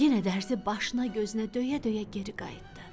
Yenə dərzi başına gözünə döyə-döyə geri qayıtdı.